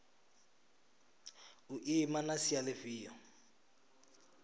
u ima na sia lifhio